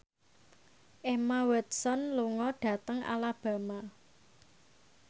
Emma Watson lunga dhateng Alabama